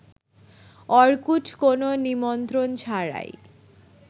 Orkut কোন নিমন্ত্রণ ছাড়াই